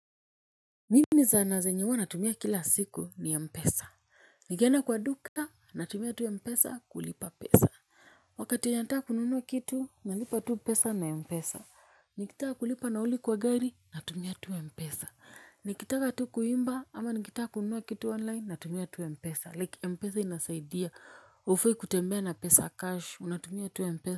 Mimi zana zenye wa natumia kila siku ni Mpesa. Nikienda kwa duka, natumia tu Mpesa kulipa pesa. Wakati wenye nataka kununua kitu, nalipa tu pesa na Mpesa. Nikitaka kulipa nauli kwa gari, natumia tu Mpesa. Nikitaka tu kuimba, ama nikitaa kununuwa kitu online, natumia tu Mpesa. Like Mpesa inasaidia. Ufai kutembea na pesa cash, unatumia tu Mpesa.